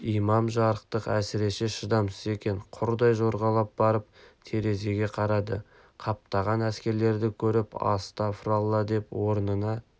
имам жарықтық әсіресе шыдамсыз екен құрдай жорғалап барып терезеге қарады қаптаған әскерлерді көріп астафыралла деп орнына